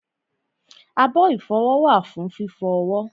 abọ́ ìfọwọ́ wà fún fífọ ọwọ́